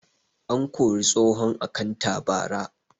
An kori tsohon akantat bara